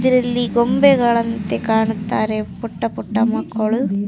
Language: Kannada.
ಇದರಲ್ಲಿ ಗೊಂಬೆಗಳ ಥರ ಕಾಂತಾ ಇದ್ದಾರೆ ಪುಟ್ಟ ಪುಟ್ಟ ಮಕ್ಕಳು.